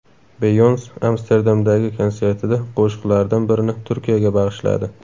Beyonse Amsterdamdagi konsertida qo‘shiqlaridan birini Turkiyaga bag‘ishladi .